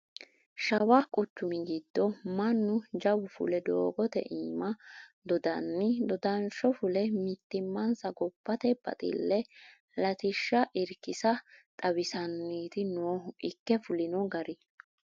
Shawa quchumi giddo mannu jawu fule doogote iima dondanni dodansho fulle mittimmansa gobbate baxile latishsha irkisassa xawiisanniti noohu ikke fulino gari.